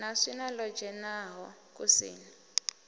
na swina ḽo dzhenaho kusini